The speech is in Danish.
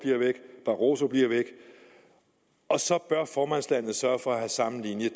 barroso bliver væk og så bør formandslandet sørge for at have samme linje